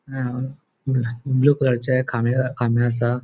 अ blue blue कलरचे खामे खामे असा.